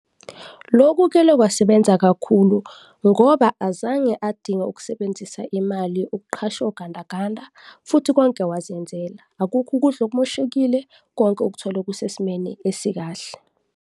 Loku kele kwasebenza kakhulu ngoba azange adinga ukusebenzisa imali ukuqasha ogandaganda futhi konke wazenzela, akukho ukudla okumoshekile, konke ukuthole kusesimeni esikahle.